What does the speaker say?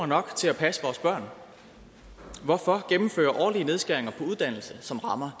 nok til at passe vores børn hvorfor gennemføre årlige nedskæringer på uddannelse som rammer